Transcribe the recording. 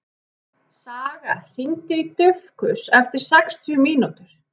Saga, hringdu í Dufgus eftir sextíu mínútur.